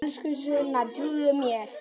Elsku Sunna, trúðu mér!